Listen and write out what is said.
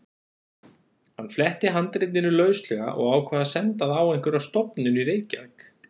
Hann fletti handritinu lauslega og ákvað að senda það á einhverja stofnun í Reykjavík.